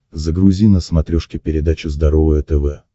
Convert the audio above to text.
загрузи на смотрешке передачу здоровое тв